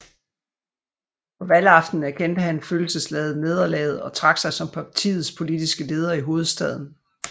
På valgaftenen erkendte han følelsesladet nederlaget og trak sig som partiets politiske leder i hovedstaden